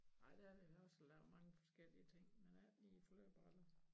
Nej der har vi ellers lavet mange forskellige ting men ikke lige flødeboller